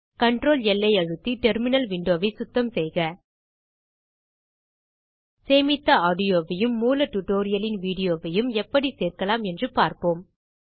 CTRLL அழுத்தி terminal window சுத்தம் செய்க சேமித்த ஆடியோவையும் மூல டியூட்டோரியல் இன் வீடியோவையும் எப்படிச் சேர்க்கலாம் என்று பார்ப்போம்